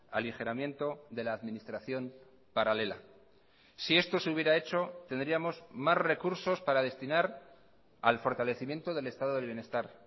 aligeramiento de la administración paralela si esto se hubiera hecho tendríamos más recursos para destinar al fortalecimiento del estado del bienestar